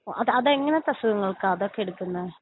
അത് അത് എങ്ങനത്തെ അസുഖങ്ങൾക്കാ അതൊക്കെ എടുക്കുന്നേ?